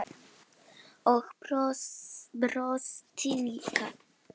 Og brosti líka.